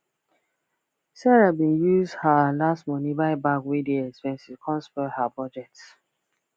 sarah bin use her last money buy bag wey dey expensive come spoil her budget